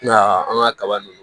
I m'a ye an ka kaba nunnu